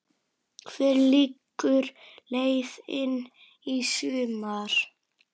Hver liggur leiðin í sumar?